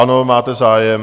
Ano, máte zájem.